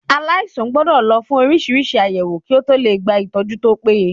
Aláìsàn gbọ́dọ̀ lọ fún oríṣiríṣi àyẹ̀wò kí ó tọ lè gba ìtọ́jú tó péye.